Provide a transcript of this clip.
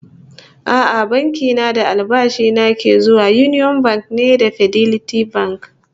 A'a, banki na da albashi na ke zuwa Union Bank ne ba Fidelity Bank ba